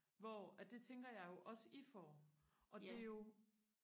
hvor at det tænker jeg jo også at I får og det er jo